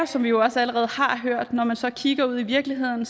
som vi jo også allerede har hørt når man så kigger ud i virkeligheden